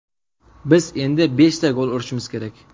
Biz endi beshta gol urishimiz kerak.